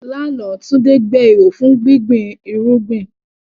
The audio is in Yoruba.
Lánàá, Tunde gbẹ́ ihò fún gbígbin irúgbìn.